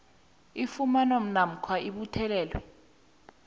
ifunyanwa namkha ibuthelelwa